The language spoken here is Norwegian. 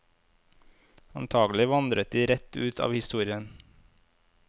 Antakelig vandret de rett ut av historien.